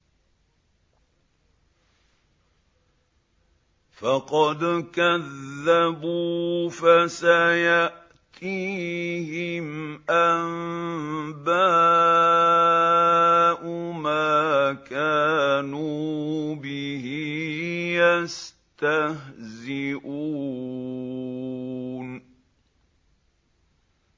فَقَدْ كَذَّبُوا فَسَيَأْتِيهِمْ أَنبَاءُ مَا كَانُوا بِهِ يَسْتَهْزِئُونَ